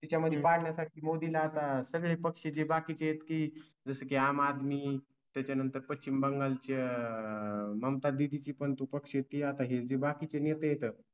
त्या मध्ये पाडण्या साठी मोदी ला आता सगळे पक्ष जे बाकीच आहेत की जसं की आम आदमी त्याच्या नंतर पश्चिम बंगाल ची आह ममता दीदीं ची पण तु पक्ष शेती आहे बाकी चे नेते आहेत